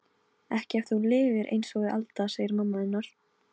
Ekki ef þú lifir einsog við Alda, segir mamma hennar.